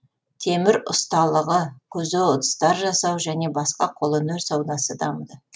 темір ұсталығы көзе ыдыстар жасау және басқа қолөнер саудасы дамыды